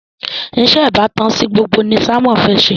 iṣé ìbátan sí gbogbo ní Simon fè ṣe